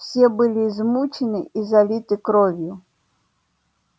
все были измучены и залиты кровью